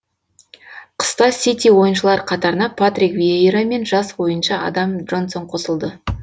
қыста сити ойыншылар қатарына патрик виейра мен жас ойыншы адам джонсон қосылды